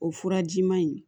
O furajiman in